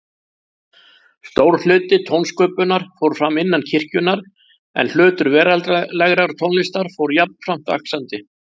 Stór hluti tónsköpunar fór fram innan kirkjunnar, en hlutur veraldlegrar tónlistar fór jafnframt vaxandi.